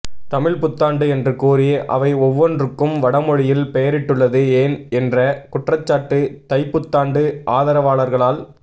தமிழ்ப்புத்தாண்டு என்று கூறி அவை ஒவ்வொன்றுக்கும் வடமொழியில் பெயரிட்டுள்ளது ஏன் என்ற குற்றச்சாட்டு தைப்புத்தாண்டு ஆதரவாளர்களால்